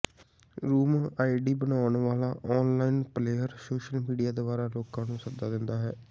room ID ਬਣਾਉਣ ਵਾਲਾ online player social media ਦੁਆਰਾ ਲੋਕਾਂ ਨੂੰ ਸੱਦਾ ਦਿੰਦਾ ਹੈ